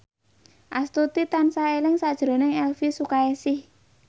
Astuti tansah eling sakjroning Elvi Sukaesih